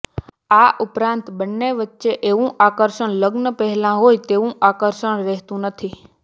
આ ઉપરાંત બંને વચ્ચે એવું આકર્ષણ લગ્ન પહેલા હોય તેવું આકર્ષણ રહેતું નથી